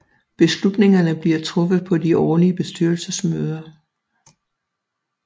Beslutningerne bliver truffet på de årlige bestyrelsesmøder